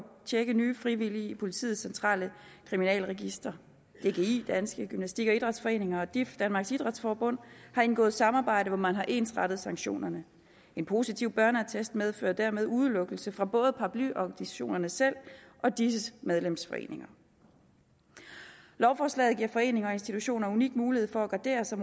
tjekke nye frivillige i politiets centrale kriminalregister dgi danske gymnastik og idrætsforeninger og dif danmarks idræts forbund har indgået et samarbejde hvor man har ensrettet sanktionerne den positive børneattest medfører dermed udelukkelse fra både paraplyorganisationerne selv og disses medlemsforeninger lovforslaget giver foreninger og institutioner en unik mulighed for at gardere sig